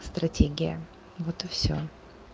стратегия вот и всё